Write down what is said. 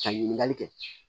Ka ɲininkali kɛ